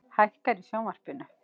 Hækkar í sjónvarpinu.